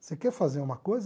Você quer fazer uma coisa?